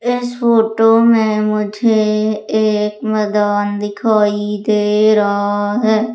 इस फोटो में मुझे एक मैदान दिखाई दे रहा है।